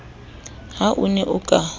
ha o ne o ka